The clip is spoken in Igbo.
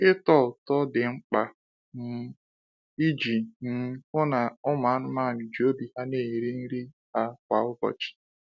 Ịtọ ụtọ Ịtọ ụtọ dị mkpa um iji um hụ na ụmụ anụmanụ ji obi ha na-eri nri ha kwa ụbọchị.